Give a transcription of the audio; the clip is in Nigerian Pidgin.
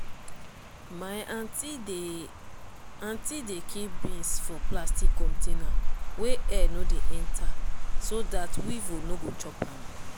my aunty dey aunty dey keep beans for plastic container wey air no dey enter so dat weevil no go chop am.